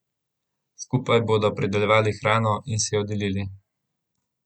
Skupaj bodo pridelovali hrano in si jo delili.